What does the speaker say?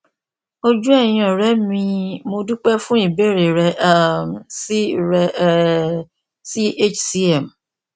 ojú ẹyìn ọrẹ mi mo dúpẹ fún ìbéèrè rẹ um sí rẹ um sí hcm